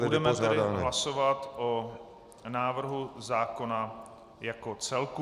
Budeme tedy hlasovat o návrhu zákona jako celku.